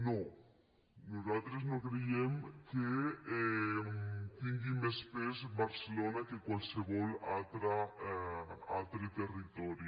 no nosaltres no creiem que tingui més pes barcelona que qualsevol altre territori